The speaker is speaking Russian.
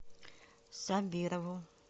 сабирову